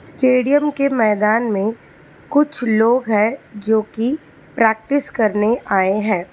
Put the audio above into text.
Stadium के मैदान में कुछ लोग हैं जो कि प्रेक्टिस करने आए हैं।